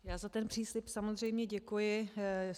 Já za ten příslib samozřejmě děkuji.